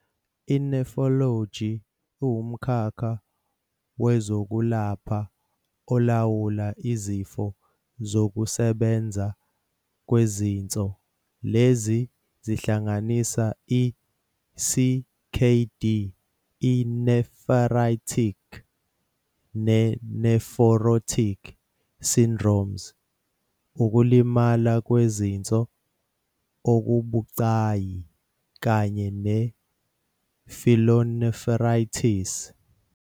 I-Nephrology iwumkhakha wezokwelapha olawula izifo zokusebenza kwezinso- lezi zihlanganisa i-CKD, i-nephritic ne-nephrotic syndromes, ukulimala kwezinso okubucayi, kanye ne-pyelonephritis.